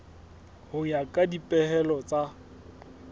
ho ya ka dipehelo tsa